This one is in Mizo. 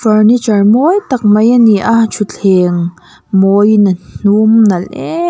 furniture mawi tak mai ani a thutthleng mawiin a hnum nalh em --